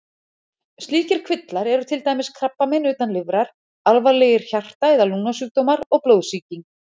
Slíkir kvillar eru til dæmis krabbamein utan lifrar, alvarlegir hjarta- eða lungnasjúkdómar og blóðsýking.